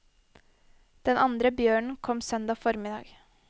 Den andre bjørnen kom søndag formiddag.